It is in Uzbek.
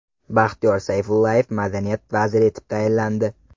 Baxtiyor Sayfullayev madaniyat vaziri etib tayinlandi.